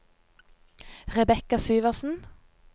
Rebecca Syversen